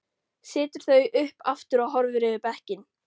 Setur þau upp aftur og horfir yfir bekkinn.